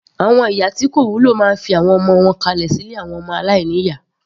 Àwọn ìyá tí kò wúlò máa fi àwọn ọmọ wọn kalẹ̀.